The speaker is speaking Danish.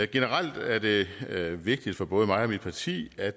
generelt er det vigtigt for både mig og mit parti at